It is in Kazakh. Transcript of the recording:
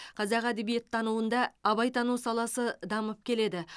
қазақ әдебиеттануында абайтану саласы дамып келеді